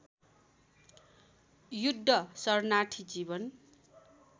युद्ध शरणार्थी जीवन